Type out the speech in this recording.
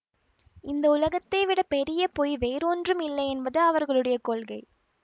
இந்த உலகத்தைவிட பெரிய பொய் வேறு ஒன்றும் இல்லையென்பது அவர்களுடைய கொள்கை